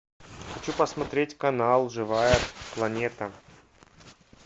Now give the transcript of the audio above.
хочу посмотреть канал живая планета